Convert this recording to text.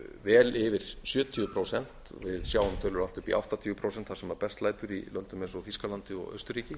vel yfir sjötíu prósent við sjáum tölur allt upp í áttatíu prósent þar sem best lætur í löndum eins og þýskalandi og austurríki